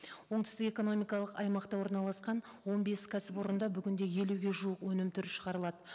оңтүстік экономикалық аймақта орналасқан он бес кәсіпорында бүгінде елуге жуық өнім түрі шығарылады